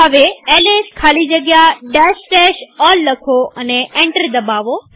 હવે એલએસ ખાલી જગ્યા all લખો અને એન્ટર દબાવો